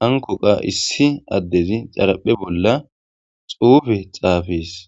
hankko qa issi adezi xaraphe bolla xuffe xafess.